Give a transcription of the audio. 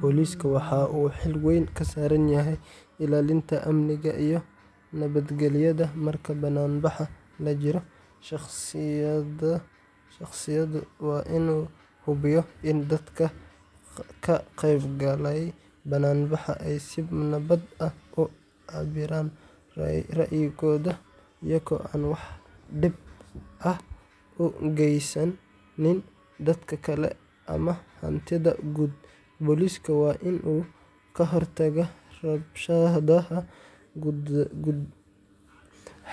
Booliska waxa uu xil weyn ka saaran yahay ilaalinta amniga iyo nabadgelyada marka bannaanbax la jiro. Shaqadiisu waa inuu hubiyo in dadka ka qaybgalaya bannaanbaxa ay si nabad ah u cabbiraan ra’yigooda iyagoo aan wax dhib ah u geysanaynin dadka kale ama hantida guud. Boolisku waa inuu ka hortagaa rabshadaha,